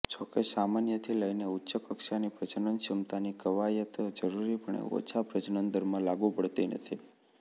જોકે સામાન્યથી લઇને ઉચ્ચ કક્ષાની પ્રજનનક્ષમતાની કવાયત જરૂરીપણે ઓછા પ્રજનન દરમાં લાગુ પડતી નથી